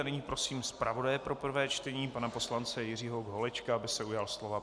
A nyní prosím zpravodaje pro prvé čtení pana poslance Jiřího Holečka, aby se ujal slova.